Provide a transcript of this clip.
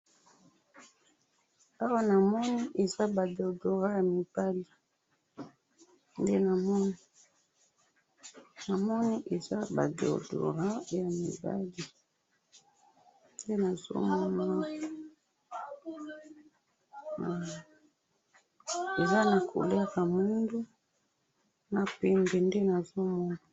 Awa namoni eza ba deodorants ya mibali ,nde namoni, namoni eza ba deodoarnts ya mibali nde nazo mona awa, eza na couleur ya muindo na pembe nde nazo mona